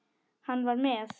Hann var með